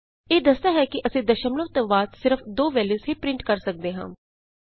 ਇਹ ਦੱਸਦਾ ਹੈ ਕਿ ਅਸੀਂ ਦਸ਼ਮਲਵ ਤੋਂ ਬਾਅਦ ਸਿਰਫ਼ ਦੋ ਵੈਲਯੂਜ਼ ਹੀ ਪਰਿੰਟ ਕਰ ਸਕਦੇ ਹਾਂ